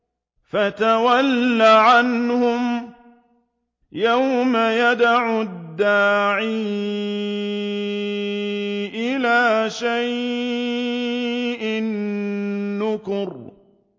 فَتَوَلَّ عَنْهُمْ ۘ يَوْمَ يَدْعُ الدَّاعِ إِلَىٰ شَيْءٍ نُّكُرٍ